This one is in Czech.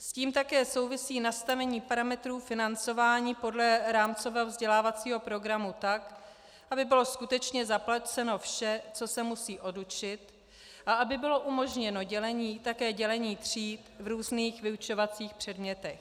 S tím také souvisí nastavení parametrů financování podle rámcového vzdělávacího programu tak, aby bylo skutečně zaplaceno vše, co se musí odučit, a aby bylo umožněno také dělení tříd v různých vyučovacích předmětech.